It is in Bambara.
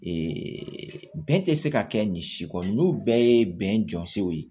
bɛɛ tɛ se ka kɛ nin si kɔni n'u bɛɛ ye bɛn jɔnsɔnw ye